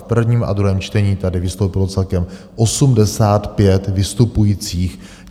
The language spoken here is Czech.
V prvním a druhém čtení tady vystoupilo celkem 85 vystupujících.